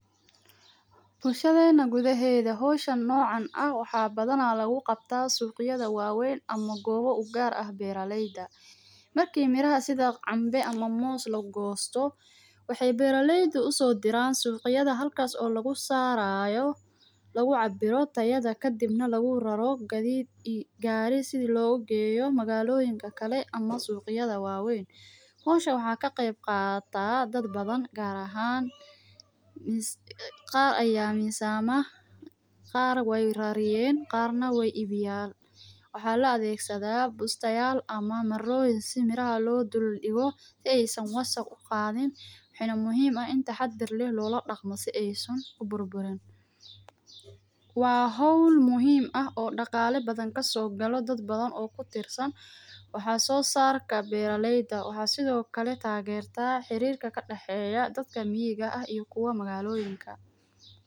Bulshadeena gudaheeda hawshaan noocan aah waxa badhana lakuqabtaa sug yadha wa weyn ama goowo u gaar aah beera layda. Marki miraha sidha cambe ama moos lagosto waxay beera layda usodiraan sugyadha halkaas oo lagu saarayo lagu cabiro tayadha kadib na lagu raro gadhhid ii gari sidhi lagu geeyo magaloyinkale ama sugyadha wa wayn. Hawshan waxa ka qeyb qataa daad badan gaar ahana qaar aya mizama, qaar wa rareyen, qaar na wa ibiyaan. Waxa la adegsadha busta yaal ama maroyin sidha miraha loo dildiqo si ay saan wasaq uqadhiin. Waxayna muhiim aah in si tahadhar loladaqmo si aysaan u burburiin. Waa hawl muhiim aah o daqala badaan gasogala daad badaan oo kutirsaan waxa so sarka beera layda waxa sidho kale tageerata xirika kadexeya dadka miyaga aah i kuwa magaloyinka.